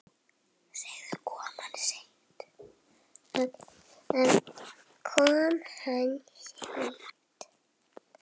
Kom hann seint?